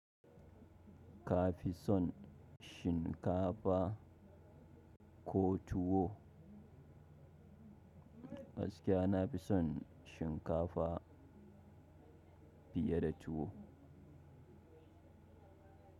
Ka fi son shinkafa ko tuwo? Gaskiya na fi son shinkafa fiye da tuwo.